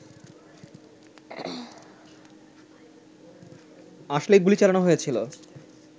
আসলে গুলি চালানো হয়েছিল